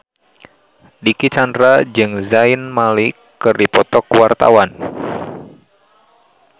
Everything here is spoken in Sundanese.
Dicky Chandra jeung Zayn Malik keur dipoto ku wartawan